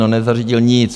No nezařídil nic.